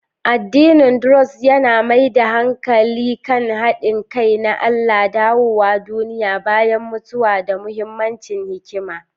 Addinin Druze yana mai da hankali kan haɗin kai na Allah, dawowa duniya bayan mutuwa, da mahimmancin hikima.